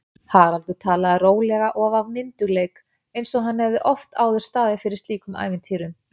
Haraldur talaði rólega og af myndugleik einsog hann hefði oft áður staðið fyrir slíkum ævintýrum.